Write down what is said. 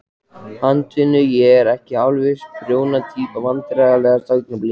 Handavinnu, ég er ekki alveg þessi prjóna týpa Vandræðalegasta augnablik?